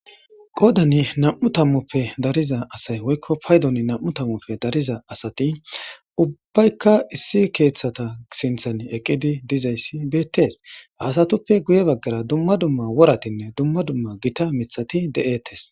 qoodani nam7u tammoppe dariza asay woykko paydon nam7u tammoppe dariza asati ubbaykka issi keeththata sinthan eqqidi dizayssi beettes haasatuppe guye baggara dumma dumma woratinne dumma dumma gita mithati de7ettes